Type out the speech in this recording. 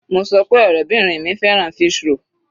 Mo sọ pé ọ̀rẹ́bìrin mi fẹ́ràn fish roll.